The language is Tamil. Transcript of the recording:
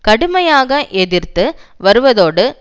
கடுமையாக எதிர்த்து வருவதோடு